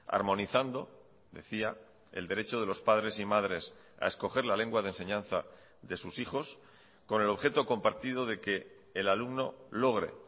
armonizando decía el derecho de los padres y madres a escoger la lengua de enseñanza de sus hijos con el objeto compartido de que el alumno logre